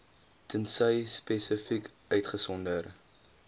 tensy spesifiek uitgesonder